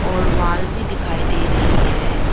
और वॉल भी दिखाई दे रही है।